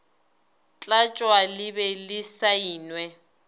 tlatšwa le be le saenwe